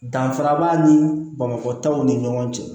Danfara b'a ni bamakɔ taw ni ɲɔgɔn cɛ